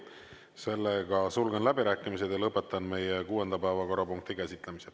Sellega sulgen läbirääkimised ja lõpetan meie kuuenda päevakorrapunkti käsitlemise.